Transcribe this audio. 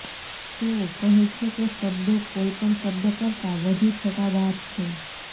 તેઓ કહે છે કે શબ્દો કોઈપણ શબ્દ કરતાં વધુ છટાદાર છે